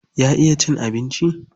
Ya iya cin abinci?